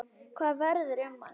Hvað verður um hann?